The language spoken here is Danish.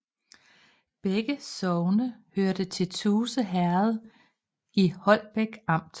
Begge sogne hørte til Tuse Herred i Holbæk Amt